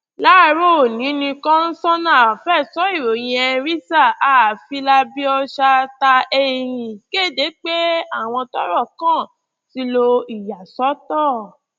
láàárọ onì ni kọsánná fẹtọ ìròyìn kéde pé àwọn tọrọ kàn ti lo ìyàsọtọ